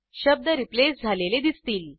शब्द रिप्लेस झालेले दिसतील